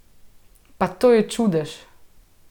Pa to je čudež!